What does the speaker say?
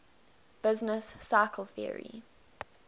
business cycle theory